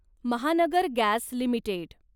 Mahanagar gas limited